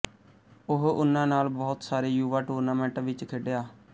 ਉਹ ਉਨ੍ਹਾਂ ਨਾਲ ਬਹੁਤ ਸਾਰੇ ਯੁਵਾ ਟੂਰਨਾਮੈਂਟਾਂ ਵਿੱਚ ਖੇਡਿਆ